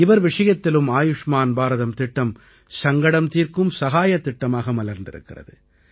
இவர் விஷயத்திலும் ஆயுஷ்மான் பாரதம் திட்டம் சங்கடம் தீர்க்கும் சகாயத் திட்டமாக மலர்ந்திருக்கிறது